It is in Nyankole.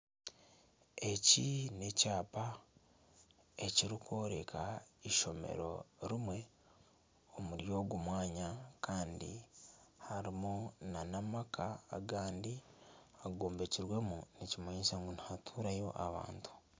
Eki n'ekyapa ekirikworeka eishomero rimwe omuri ogu mwanya kandi harimu nana amaka agandi agombekirwemu nikimanyisa ngu nihaturwamu abantu